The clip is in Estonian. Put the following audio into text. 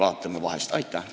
Aitäh!